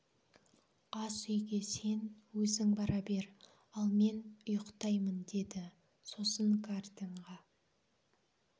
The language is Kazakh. асүйге сен өзің бара бер ал мен ұйықтаймын деді сосын гартенға